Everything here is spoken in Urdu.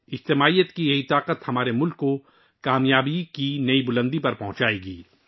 اجتماعیت کی یہ طاقت ہمارے ملک کو کام یابی کی نئی بلندیوں پر لے جائے گی